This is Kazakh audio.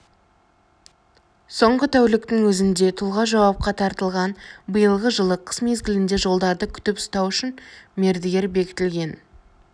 соңғы тәуліктің өзінде тұлға жауапқа тартылған биылғы жылы қыс мезгілінде жолдарды күтіп ұстау үшін мердігер бекітілген